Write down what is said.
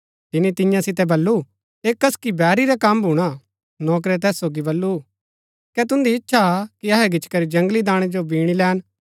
तिनी तियां सितै बल्लू ऐह कसकि बैरी रा कम भूणा नौकरै तैस सोगी बल्लू कै तुन्दी इच्छा हा कि अहै गिचीकरी जगंली दाणै जो बीणी लैन